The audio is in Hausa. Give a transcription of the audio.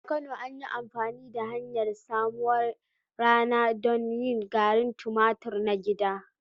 A Kano, an yi amfani da hanyar busarwar rana don yin garin tumatur na gida.